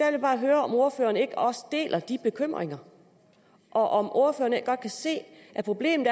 jeg bare høre om ordføreren ikke også deler de bekymringer og om ordføreren ikke godt kan se at problemet